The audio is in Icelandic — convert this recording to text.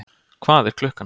Hvað er klukkan?